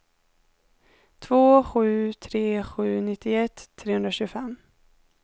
två sju tre sju nittioett trehundratjugofem